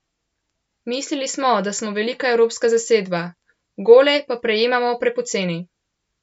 Mislili smo, da smo velika evropska zasedba, gole pa prejemamo prepoceni.